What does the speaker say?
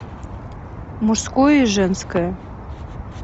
мужское женское